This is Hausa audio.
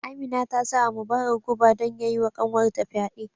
Amina ta sa wa Mubarak guba don ya yi wa kanwar ta fyade